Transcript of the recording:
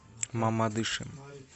мамадышем